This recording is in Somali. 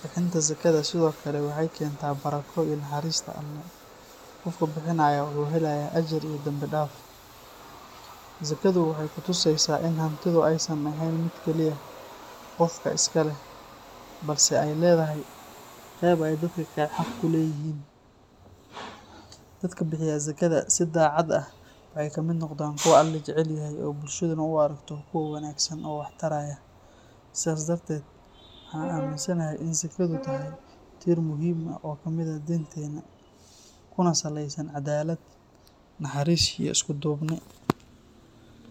Bixinta zakada sidoo kale waxay keentaa barako iyo naxariista Alle, qofka bixinayana wuxuu helaa ajar iyo danbi dhaaf. Zakadu waxay ku tusaysaa in hantidu aysan ahayn mid keliya qofka iska leh balse ay leedahay qayb ay dadka kale xaq u leeyihiin. Dadka bixiya zakada si daacad ah waxay ka mid noqdaan kuwa Alle jecel yahay oo bulshaduna u aragto kuwo wanaagsan oo wax taraya. Sidaas darteed, waxaan aaminsanahay in zakadu tahay tiir muhiim ah oo ka mid ah diinteena, kuna saleysan caddaalad, naxariis iyo isku duubni.